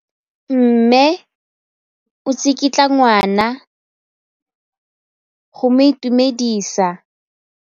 Mme o tsikitla ngwana go mo itumedisa.